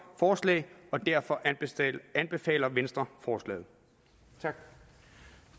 forslag og derfor anbefaler venstre forslaget